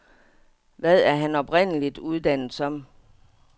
Hvad er han oprindeligt uddannet som?